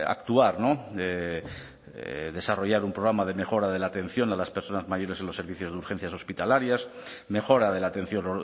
actuar no desarrollar un programa de mejora de la atención a las personas mayores en los servicios de urgencias hospitalarias mejora de la atención